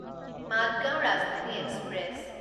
Madgaon Rajdhani express